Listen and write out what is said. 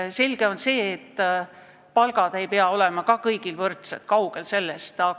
On selge, et palgad ei pea olema kõigil võrdsed – kaugel sellest!